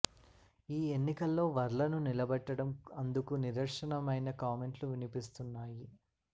ఈ ఎన్నికలో వర్ల ను నిలబెట్టడం అందుకు నిదర్శనమనై కామెంట్లు వినిపిస్తున్నాయి